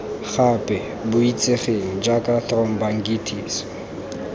gape bo itsegeng jaaka thromboangitis